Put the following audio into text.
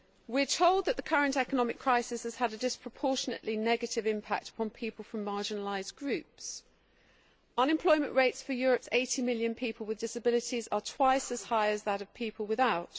We are told that the current economic crisis has had a disproportionately negative impact on people from marginalised groups unemployment rates for Europe's 80 million people with disabilities are twice as high as those for people without.